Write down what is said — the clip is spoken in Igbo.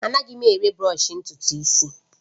Anaghị m ere bụrọshi ntutu isi